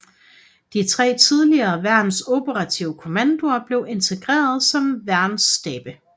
De tre tidligere værns operative kommandoer blev integreret som værnsstabe